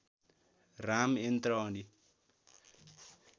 राम यन्त्र अनि